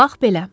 Bax belə.